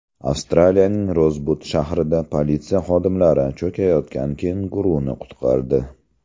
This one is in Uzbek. Avstraliyaning Rozbud shahrida politsiya xodimlari cho‘kayotgan kenguruni qutqardi.